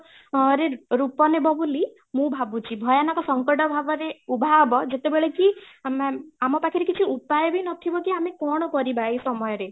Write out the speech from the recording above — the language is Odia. ଅ ରେ ରୂପ ନେବ ବୋଲି ମୁଁ ଭାବୁଛି, ଭୟାନକ ସଙ୍କଟ ଭାବରେ ଉଭା ହବ ଯେତେ ବେଳେ କି ଆମେ ଆମ ପାଖରେ କିଛି ଉପାୟ ବି ନଥିବ କି ଆମ କ'ଣ କରିବା ଏଇ ସମୟ ରେ